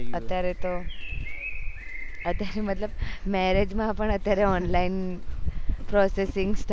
અત્યારે તો અત્યારે તો મતલબ marriage માં બી અત્યારે online processing